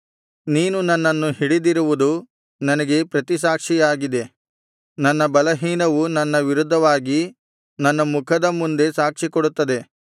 ನೀನು ನನ್ನನ್ನು ಹಿಡಿದಿರುವುದು ನನಗೆ ಪ್ರತಿಸಾಕ್ಷಿಯಾಗಿದೆ ನನ್ನ ಬಲಹೀನವು ನನ್ನ ವಿರುದ್ಧವಾಗಿ ನನ್ನ ಮುಖದ ಮುಂದೆ ಸಾಕ್ಷಿಕೊಡುತ್ತದೆ